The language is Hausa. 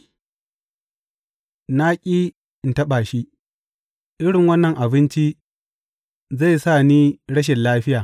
Na ƙi in taɓa shi; irin wannan abinci zai sa ni rashin lafiya.